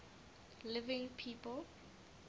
living people